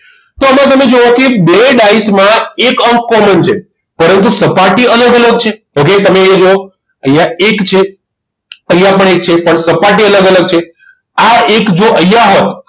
તો આમાં તમે જુઓ કે બે ડાઈસમાં એક અંક common છે પરંતુ સપાટી અલગ અલગ છે okay તમે અહીંયા જુઓ અહીંયા એક છે અહીંયા પણ એક છે પણ સપાટી અલગ અલગ છે આ એક જો અહીંયા હોત